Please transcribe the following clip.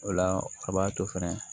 O la a b'a to fɛnɛ